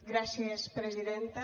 gràcies presidenta